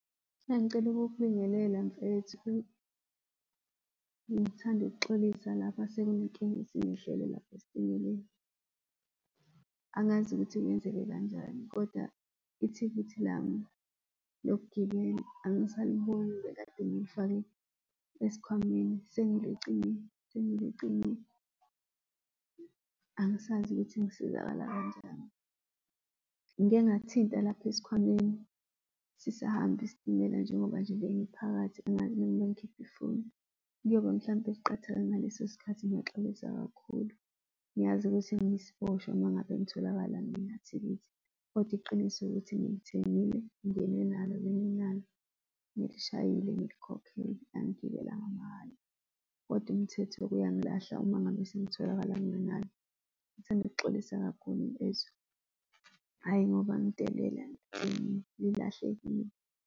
Bengicela ukukubingelela, mfethu. Bengithanda ukuxolisa lapha sekunenkinga esingehlele lapho esitimeleni. Angazi ukuthi kwenzeke kanjani, kodwa ithikithi lami lokugibela angisaliboni. Bekade ngilifake esikhwameni, sengilicinge, sengilicinge angisazi ukuthi ngisizakala kanjani. Ngike ngathinta lapha esikhwameni sisahamba isitimela, njengoba nje bengiphakathi angazi noma ngikhiphe ifoni, kuyobe mhlampe liqathake ngaleso sikhathi. Ngiyaxolisa kakhulu. Ngiyazi ukuthi ngiyisiboshwa uma ngabe ngitholakala nganathikithi, kodwa iqiniso ukuthi ngilithengile, ngingene nalo, benginalo, ngilishayile, ngilikhokhele, angigibelanga mahhala. Kodwa umthetho uyangilahla uma ngabe sengitholakala ngingenalo. Ngithanda ukuxolisa kakhulu mfethu, hhayi ngoba ngidelela lilahlekile.